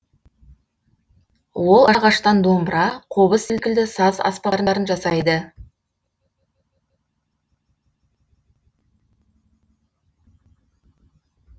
ол ағаштан домбыра қобыз секілді саз аспаптарын жасайды